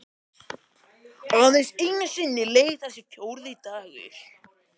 Aðeins einu sinni leið þessi fjórði dagur.